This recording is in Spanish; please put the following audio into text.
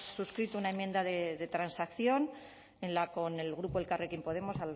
suscrito una enmienda de transacción con el grupo elkarrekin podemos